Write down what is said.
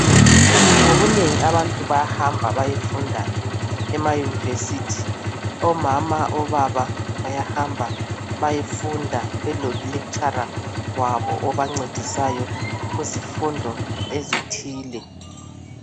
Ngobunengi abantu bayahamba bayefunda ema university. Omama obaba bayahamba beyefunda belo lekitshara wabo obancedisayo kuzifundo ezithile.